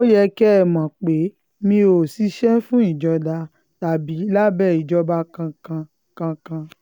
ó yẹ kẹ́ ẹ mọ̀ pé mi ò ṣiṣẹ́ fún ìjọba tàbí lábẹ́ ìjọba kankan kankan